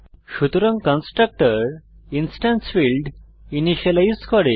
সুতরাং constructor instance field initialize করে